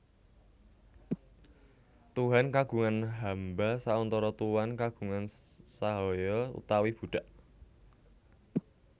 Tuhan kagungan hamba sauntara Tuan kagungan sahaya utawi budak